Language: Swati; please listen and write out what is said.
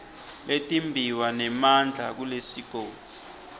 letimbiwa nemandla kulesigodzi